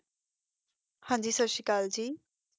ਹਨ ਜੀ ਸਸ੍ਤੀਕੈੱਲ ਜੀ